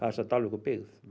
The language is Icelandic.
sagt Dalvíkurbyggð